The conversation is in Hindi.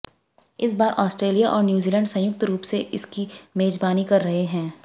इस बार आॅस्ट्रेलिया और न्यूजीलैंड संयुक्त रूप से इसकी मेजबानी कर रहे हैं